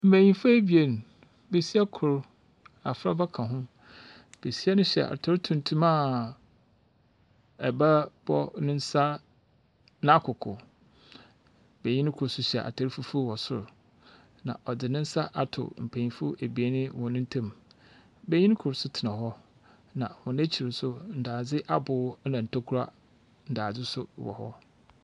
Mmenyinfo abien, besia kor abfraba ka ho. Besia no hyɛ ataar tuntum a ɛba bɔ ne nsa n’akoko. Benyin kor nso hyɛ ataar fufu wɔ sor, na ɔdze ne nsa ato mpenyimfo ebien wɔn ntam. Benyin kor nso tena hɔ, na hɔn ekyir nso ndaadze aboo na ntokua ndaaze nso wɔ hɔ.